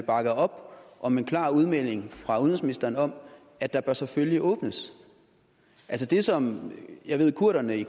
bakke op om en klar udmelding fra udenrigsministeren om at der selvfølgelig bør åbnes det som jeg ved at kurderne i